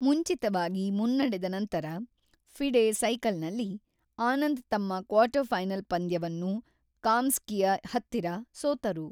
ಮುಂಚಿತವಾಗಿ ಮುನ್ನಡೆದ ನಂತರ, ಫಿಡೆ ಸೈಕಲ್‌ನಲ್ಲಿ, ಆನಂದ್ ತಮ್ಮ ಕ್ವಾರ್ಟರ್‌ಫೈನಲ್ ಪಂದ್ಯವನ್ನು ಕಾಮ್‌ಸ್ಕಿಯ ಹತ್ತಿರ ಸೋತರು.